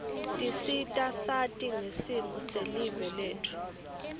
tisita sati ngesimo selive letfu